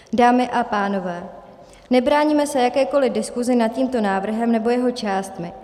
Dámy a pánové, nebráníme se jakékoliv diskusi nad tímto návrhem nebo jeho částmi.